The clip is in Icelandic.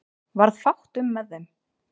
Varð fátt um með þeim